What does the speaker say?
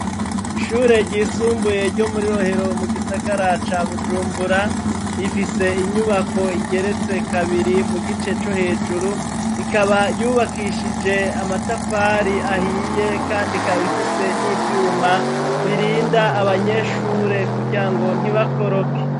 Ishure ryisumbuye ryo muri Rohero mu gisagara ca Bujumbura, rifise inyubako igeretse kabiri mu gice co hejuru, ikaba yubakishije amatafari ahiye kand' ikab' ifise n'ivyuma birinda abanyeshure kugira ngo ntibakoroke.